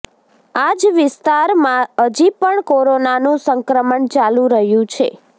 આ જ વિસ્તારમા હજી પણ કોરોનાનું સંક્રમણ ચાલુ રહ્યુ છે